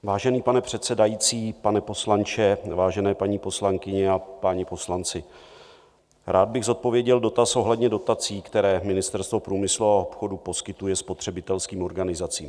Vážený pane předsedající, pane poslanče, vážené paní poslankyně a páni poslanci, rád bych zodpověděl dotaz ohledně dotací, které Ministerstvo průmyslu a obchodu poskytuje spotřebitelským organizacím.